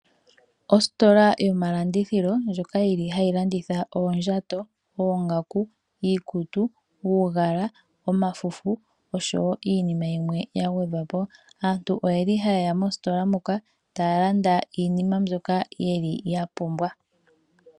Ositola yomalandithilo, ndjoka yili hayi landitha oondjato, oongaku, iikutu, uugala, omafufu, oshowo iinima yimwe ya gwedhwa po. Aantu oyeli hayeya mositola muka, taya landa iinima mbyoka yeli ya pumbwa.